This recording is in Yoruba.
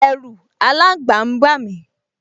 Ẹ̀ru aláǹgba n bà mí